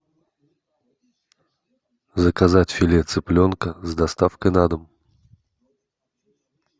заказать филе цыпленка с доставкой на дом